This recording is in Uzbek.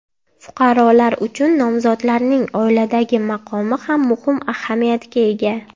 Fuqarolar uchun nomzodlarning oiladagi maqomi ham muhim ahamiyatga ega.